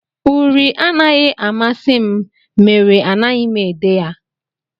Uri anaghị amasị m mere anaghị m ede ya